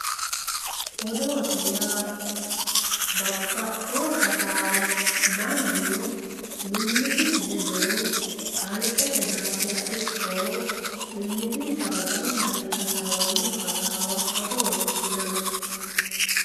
Odoote yaa babaxiwo hassaawa manu mimitisi ledo kaliqqrte dafira ikko mimitinsa ledo gamba yee hasaawano hassaawa odootte yinanni